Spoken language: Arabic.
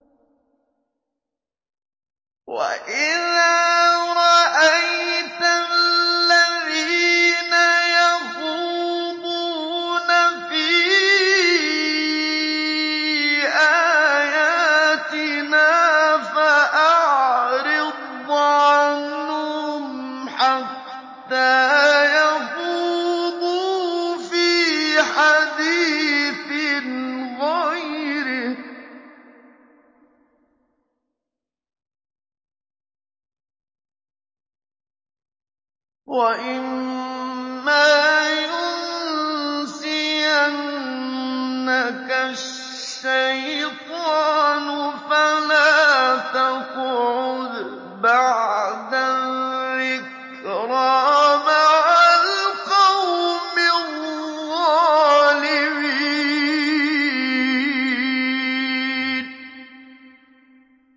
وَإِذَا رَأَيْتَ الَّذِينَ يَخُوضُونَ فِي آيَاتِنَا فَأَعْرِضْ عَنْهُمْ حَتَّىٰ يَخُوضُوا فِي حَدِيثٍ غَيْرِهِ ۚ وَإِمَّا يُنسِيَنَّكَ الشَّيْطَانُ فَلَا تَقْعُدْ بَعْدَ الذِّكْرَىٰ مَعَ الْقَوْمِ الظَّالِمِينَ